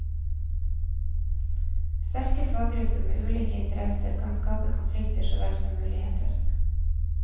Sterke faggrupper med ulike interesser kan skape konflikter så vel som muligheter.